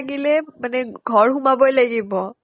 লাগিলে মানে ঘৰ সোমাবই লাগিব